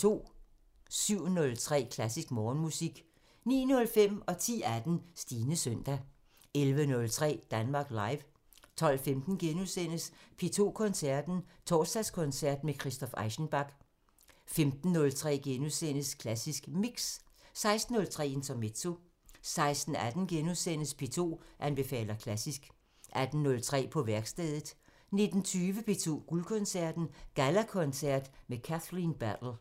07:03: Klassisk Morgenmusik 09:05: Stines søndag 10:18: Stines søndag 11:03: Danmark Live 12:15: P2 Koncerten – Torsdagskoncert med Christoph Eschenbach * 15:03: Klassisk Mix * 16:03: Intermezzo 16:18: P2 anbefaler klassisk * 18:03: På værkstedet 19:20: P2 Guldkoncerten – Gallakoncert med Kathleen Battle